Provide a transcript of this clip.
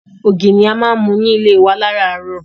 Ògì ni a máa ń mu ní ilé wa láràárọ̀.